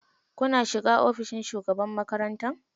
Kuna shiga ofishin shugaban makaranta?